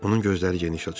Onun gözləri geniş açıldı.